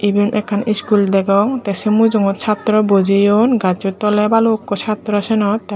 iben ekkan iskul degong tey sei mujongot chatorow bojeyon gassot toley balukko chatraw siyenot tey mu.